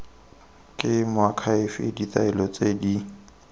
ke moakhaefe ditaelo tse di